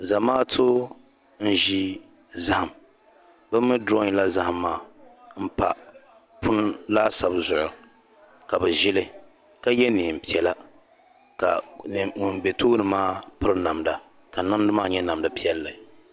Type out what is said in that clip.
zamaatu n-ʒi zahim bɛ mi durɔyila zahim maa m-pa punu laasabu zuɣu ka bɛ ʒi li ka ye neen' piɛla ka ŋun be tooni maa piri namda ka namda maa nyɛ namda piɛlli